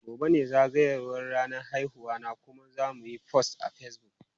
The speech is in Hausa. Gobe ​​ne zagayowar ranar haihuwarta kuma zamuyi post a Facebook.